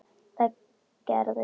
Það gerðist síðar.